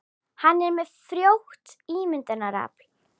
Hann er með frjótt ímyndunarafl.